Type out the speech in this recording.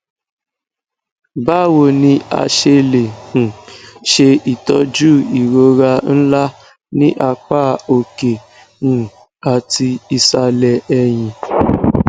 bawo ni a se le um ṣe itọju irora nla ni apa oke um ati isalẹ ẹhin